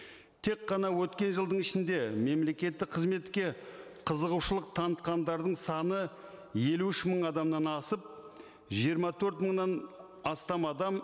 тек қана өткен жылдың ішінде мемлекеттік қызметке қызығушылық танытқандардың саны елу үш мың адамнан асып жиырма төрт мыңнан астам адам